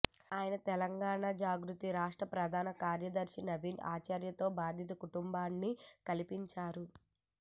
ఆయన తెలంగాణ జాగృతి రాష్ట్ర ప్రధాన కార్యదర్శి నవీన్ ఆచారితో బాధిత కుటుం బాన్ని కలిపిం చారు